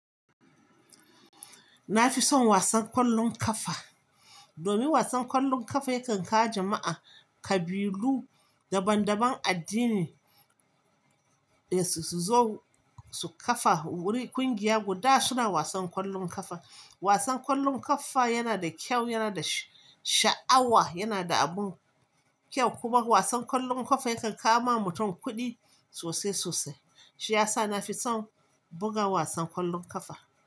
Na fi son wasan ƙwallon ƙafa, domin wasan ƙwallon ƙafa yakan kawo jama'a, ƙabilu, daban-daban addini, eh su zo su kafa ƙungiya guda suna wasan ƙwallon ƙafa. Wasan ƙwallon ƙafa yana da kyau, yana da sha'awa, yana da abun kyau kuma wasan ƙwallon ƙafa yakan kama mutum kuɗi sosai-sosai. Shiyasa na fi son buga wasan ƙwallon ƙafa.